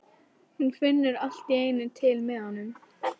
Og hún finnur allt í einu til með honum.